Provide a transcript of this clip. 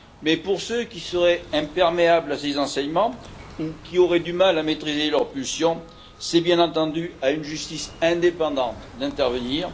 Mais, pour ceux qui seraient imperméables à ces enseignements, ou qui auraient du mal à maîtriser leurs pulsions, c'est bien entendu à une justice indépendante d'intervenir.